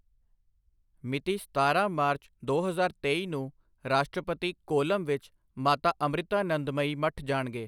ਮਿਤੀ ਸਤਾਰਾਂ ਮਾਰਚ, ਦੋ ਹਜ਼ਾਰ ਤੇਈ ਨੂੰ ਰਾਸ਼ਟਰਪਤੀ ਕੋਲਮ ਵਿੱਚ ਮਾਤਾ ਅੰਮ੍ਰਿਤਾਨੰਦਮਯੀ ਮਠ ਜਾਣਗੇ।